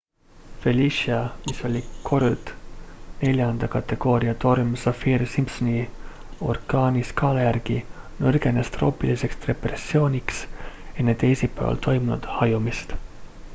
felicia mis oli kord 4 kategooria torm saffir-simpsoni orkaaniskaala järgi nõrgenes troopiliseks depressiooniks enne teisipäeval toimunud hajumist